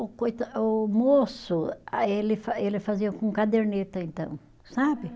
O coita, o moço, ah ele fa, ele fazia com caderneta então, sabe?